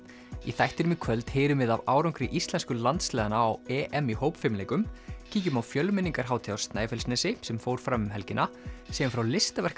í þættinum í kvöld heyrum við af árangri íslensku landsliðanna á EM í hópfimleikum kíkjum á á Snæfellsnesi sem fór fram um helgina segjum frá